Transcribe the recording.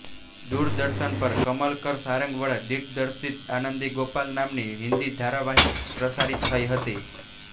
દૂરદર્શન પર કમલકર સારંગ વડે દિગ્દર્શિત આનંદી ગોપાલ નામની હિંદી ધારાવાહિક પ્રસારિત થઇ હતી